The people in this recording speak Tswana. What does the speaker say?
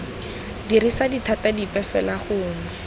dirisa dithata dipe fela gongwe